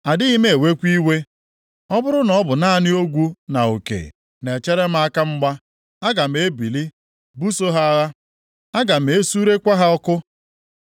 Adịghị m ewekwa iwe. Ọ bụrụ na ọ bụ naanị ogwu na uke na-echere m aka mgba, aga m ebili buso ha agha, aga m esurekwa ha ọkụ.